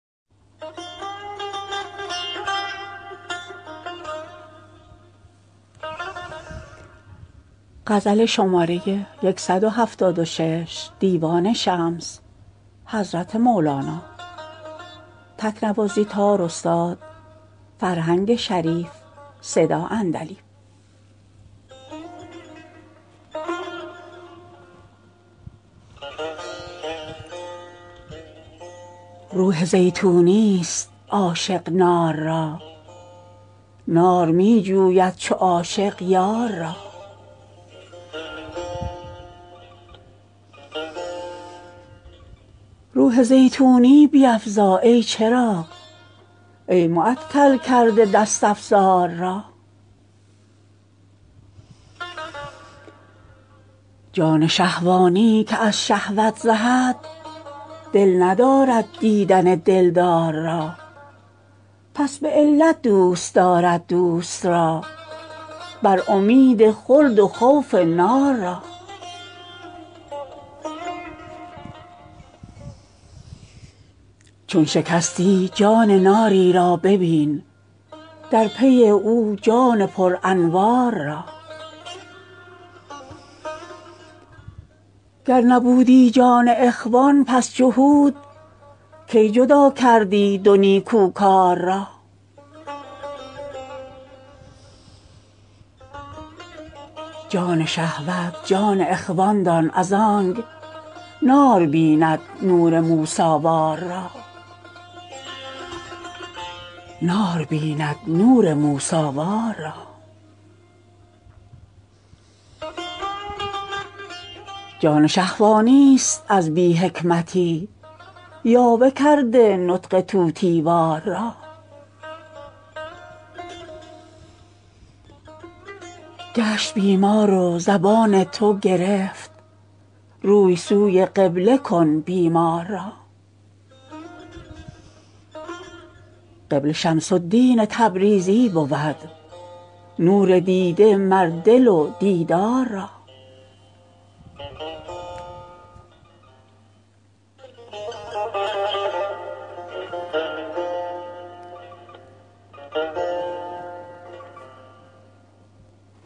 روح زیتونیست عاشق نار را نار می جوید چو عاشق یار را روح زیتونی بیفزا ای چراغ ای معطل کرده دست افزار را جان شهوانی که از شهوت زهد دل ندارد دیدن دلدار را پس به علت دوست دارد دوست را بر امید خلد و خوف نار را چون شکستی جان ناری را ببین در پی او جان پرانوار را گر نبودی جان اخوان پس جهود کی جدا کردی دو نیکوکار را جان شهوت جان اخوان دان از آنک نار بیند نور موسی وار را جان شهوانی ست از بی حکمتی یاوه کرده نطق طوطی وار را گشت بیمار و زبان تو گرفت روی سوی قبله کن بیمار را قبله شمس الدین تبریزی بود نور دیده مر دل و دیدار را